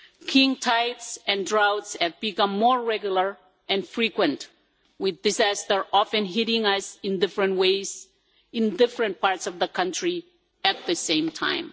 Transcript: King tides and droughts have become more regular and frequent with disaster often hitting us in different ways in different parts of the country at the same time.